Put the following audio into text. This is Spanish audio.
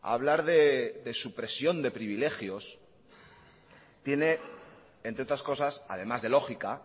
hablar de supresión de privilegios tiene entre otras cosas además de lógica